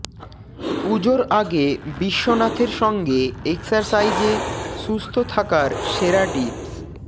পুজোর আগে বিশ্বনাথের সঙ্গে এক্সারসাইজে সুস্থ থাকার সেরা টিপস